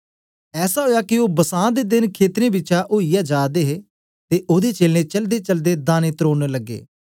ऐसा ओया के ओ बसां दे देन खेतरें बिचा ओईयै जा दे हे ते ओदे चेलें चलदेचलदे दाने त्रोड़न लगे